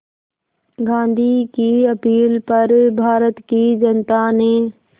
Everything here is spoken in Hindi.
गांधी की अपील पर भारत की जनता ने